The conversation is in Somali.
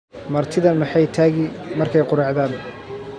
martidha maxay tagi markay quracdan